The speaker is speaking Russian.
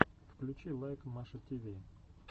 включи лайк маша тиви